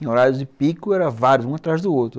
Em horários de pico, eram vários, um atrás do outro.